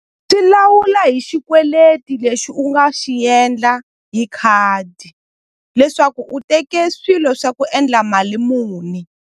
Swi lawula hi xikweleti lexi u nga xi endla hi khadi leswaku u teke swilo swa ku endla mali muni.